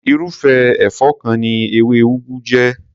Irúfé èfó kan ni ewé ugu jé.